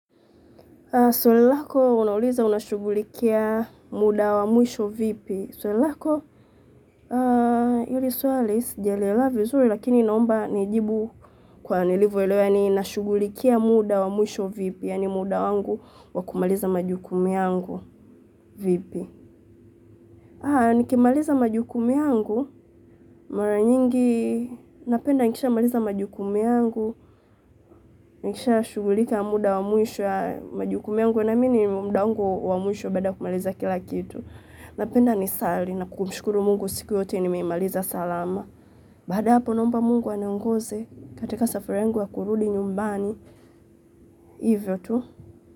Swali lako unauliza unashugulikia muda wa mwisho vipi. Swali lako hili swali sijalielewa vizuri lakini naomba nijibu kwa nilivo elewa yaani nashugulikia muda wa mwisho vipi. Yaani muda wangu wa kumaliza majukumu yangu vipi. Haya nikimaliza majukumu yangu, mara nyingi, napenda nikisha maliza majukumu yangu, nikisha shugulika muda wa mwisho ya majukumu yangu, naamini muda wangu wa mwisho baada ya kumaliza kila kitu. Napenda nisali, na kumshukuru Mungu siku yote nimeimaliza salama. Baada ya hapo nomba Mungu aniongoze, katika safari yangu ya kurudi nyumbani, hivyo tu.